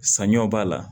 Saɲɔ b'a la